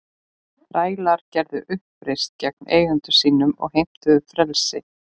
Þrælar gerðu uppreisn gegn eigendum sínum og heimtuðu frelsi.